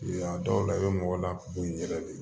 A dɔw la i bɛ mɔgɔ lakori i yɛrɛ de ye